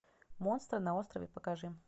монстры на острове покажи